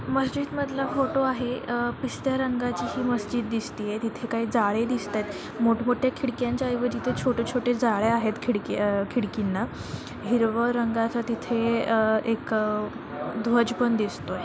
माजिद मधलं फोटो आहे अ पिस्ता रंगाची हि माजिद दिसतंय तिथे काय जाळ्या दिसताय मोठ्ठ मोट्या खिडक्यांच्या ऐवजी तिथे छोटे छोटे जाळ्या आहेत खिडकी अ खिडकींना हिरव रंगाच तिथे अह एक अह एक दद्वज पण दिसतोय.